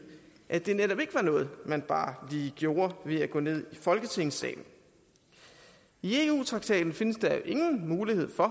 at det netop ikke var noget man bare lige gjorde ved at gå ned i folketingssalen i eu traktaten findes der jo ingen mulighed for